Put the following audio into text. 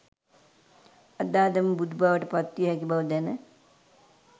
අද අදම බුදුබවට පත්විය හැකි බව දැන